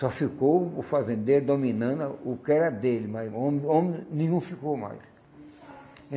Só ficou o fazendeiro dominando a o que era dele, mas o homem, homem nenhum ficou mais.